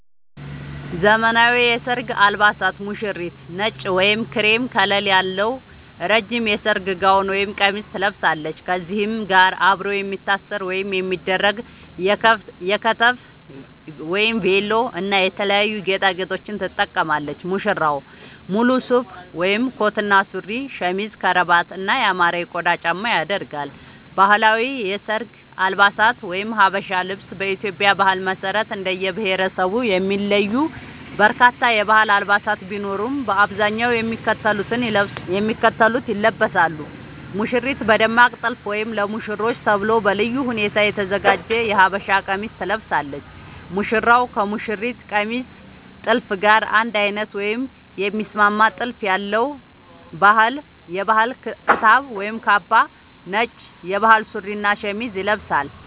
ዘመናዊ የሰርግ አልባሳት ሙሽሪት: ነጭ ወይም ክሬም ከለር ያለው ረጅም የሰርግ ጋውን (ቀሚስ) ትለብሳለች። ከዚህም ጋር አብሮ የሚታሰር ወይም የሚደረግ የከተፍ (ቬሎ) እና የተለያዩ ጌጣጌጦችን ትጠቀማለች። ሙሽራው: ሙሉ ሱፍ (ኮት እና ሱሪ)፣ ሸሚዝ፣ ከረባት እና ያማረ የቆዳ ጫማ ያደርጋል። ባህላዊ የሰርግ አልባሳት (ሀበሻ ልብስ) በኢትዮጵያ ባህል መሰረት እንደየብሄረሰቡ የሚለዩ በርካታ የባህል አልባሳት ቢኖሩም፣ በአብዛኛው የሚከተሉት ይለበሳሉ - ሙሽሪት: በደማቅ ጥልፍ ወይም ለሙሽሮች ተብሎ በልዩ ሁኔታ የተዘጋጀ የሀበሻ ቀሚስ ትለብሳለች። ሙሽራው: ከሙሽሪት ቀሚስ ጥልፍ ጋር አንድ አይነት ወይም የሚስማማ ጥልፍ ያለው የባህል ክታብ (ካባ)፣ ነጭ የባህል ሱሪ እና ሸሚዝ ይለብሳል።